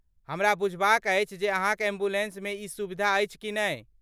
हमरा बुझबाक अछि जे अहाँक एम्बुलेन्समे ई सुविधा अछि कि नहि?